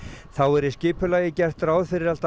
þá er í skipulagi gert ráð fyrir allt að